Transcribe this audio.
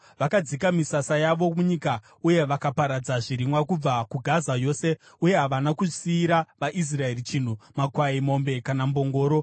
Vakadzika misasa yavo munyika uye vakaparadza zvirimwa kubva kuGaza yose, uye havana kusiyira vaIsraeri chinhu, makwai, mombe kana mbongoro.